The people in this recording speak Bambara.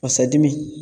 Basa dimi